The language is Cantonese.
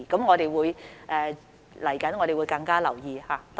我們未來會多加留意。